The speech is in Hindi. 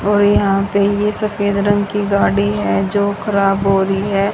और यहां पे ये सफेद रंग की गाड़ी है जो खराब हो रही है।